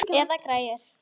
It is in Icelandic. Eða græjur.